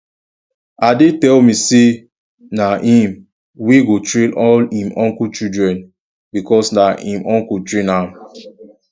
ade tell me say na him wey go train all im uncle children because na im uncle train am